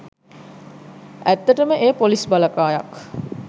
ඇත්තටම එය පොලිස් බලකායක්